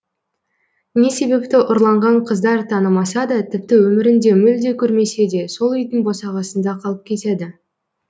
не себепті ұрланған қыздар танымаса да тіпті өмірінде мүлде көрмесе де сол үйдің босағасында қалып кетеді